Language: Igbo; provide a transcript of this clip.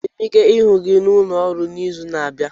Enwere m ike ịhụ gị n'ụlọ ọrụ n'izu na-abịa?